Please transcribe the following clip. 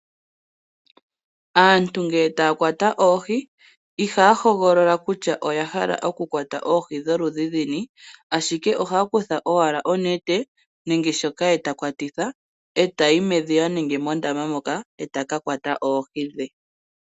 Aantu ngele taya kwata oohi ihaya hogolola kutya oya hala okukwata oohi dholudhi luni, ashike ohaya kutha owala onete nenge shoka ha kwatitha tayi medhiya nenge mondama moka e ta ka kwata oohi dhe.